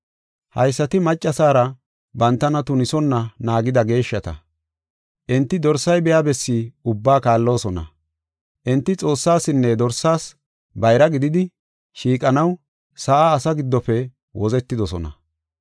Haysati maccasara bantana tunisonna naagida geeshshata. Enti dorsay biya bessi ubbaa kaalloosona. Enti Xoossaasinne Dorsaas bayra gididi, shiiqanaw sa7a asaa giddofe wozetidosona.